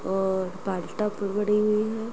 और बनी हुई हैं।